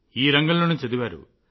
ఈ రంగంలోనే చదివారు